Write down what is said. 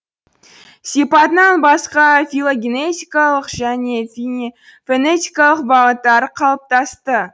сипатынан басқа филогенетикалық және фенетикалық бағыттары қалыптасты